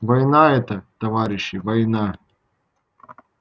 война это товарищи война